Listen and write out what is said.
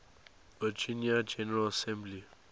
virginia general assembly